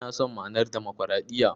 Ina son ma'anar Damakwaraɗiyya.